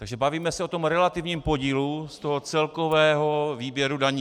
Takže bavíme se o tom relativním podílu z toho celkového výběru daní.